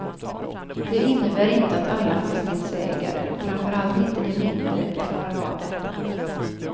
Det innebär inte att alla fastighetsägare, framför allt inte de mindre, klarar av detta.